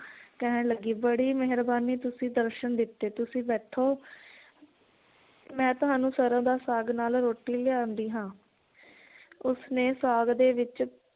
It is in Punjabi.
ਕਹਿਣ ਲੱਗੀ ਬੜੀ ਮੇਹਰਬਾਨੀ ਤੁਸੀਂ ਦਰਸ਼ਨ ਦਿੱਤੇ ਤੁਸੀਂ ਬੈਠੋ ਮੈ ਤੁਹਾਨੂੰ ਸਰੋਂ ਦਾ ਸਾਗ ਨਾਲ ਰੋਟੀ ਲਿਆਂਦੀ ਹਾਂ ਉਸਨੇ ਸਾਗ ਦੇ ਵਿਚ